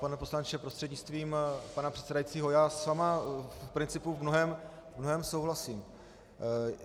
Pane poslanče prostřednictvím pana předsedajícího, já s vámi v principu v mnohém souhlasím.